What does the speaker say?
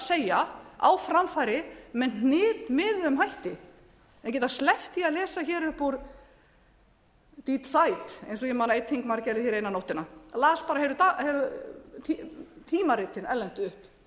segja á framfæri með hnitmiðuðum hætti en geta sleppt því að lesa upp úr de die eins og ég man að einn þingmaður gerði eina nóttina las bara heilu erlendu tímaritin upp